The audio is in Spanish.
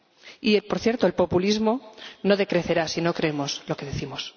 Y, por cierto, el populismo no decrecerá si no creemos lo que decimos.